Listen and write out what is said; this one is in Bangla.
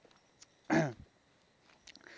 আহ